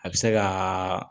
A bɛ se ka